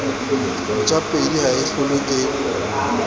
ntjapedi ha e hlolwe ke